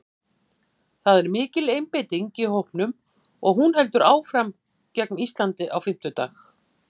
Það er mikil einbeiting í hópnum og hún heldur áfram gegn Íslandi á fimmtudag.